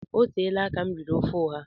Oteela aka m riri ofe ọha